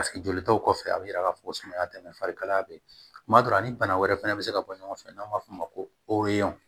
jolitaw kɔfɛ a bɛ yira k'a fɔ ko sumaya tɛ dɛ farikalaya bɛ yen kuma dɔ la ni bana wɛrɛ fana bɛ se ka bɔ ɲɔgɔn fɛ n'an b'a f'o ma ko